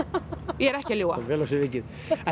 ég er ekki að ljúga vel af sér vikið